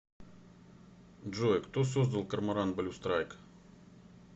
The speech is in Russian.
джой кто создал корморан блю страйк